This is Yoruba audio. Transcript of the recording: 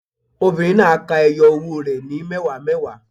Obìnrin náà á ka ẹyọ owó rẹ̀ ní mẹ́wàá mẹ́wàá.